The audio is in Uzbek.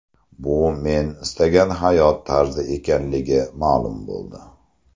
Bu men istagan hayot tarzi ekanligi ma’lum bo‘ldi.